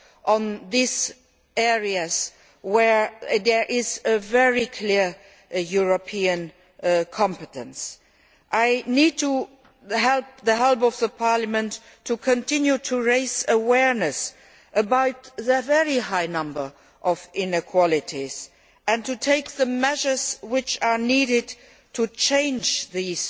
in those areas where there is a very clear European competence. I need the help of Parliament to continue to raise awareness about the very large number of inequalities and to take the measures that are needed to change this